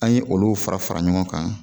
An ye olu fara fara ɲɔgɔn kan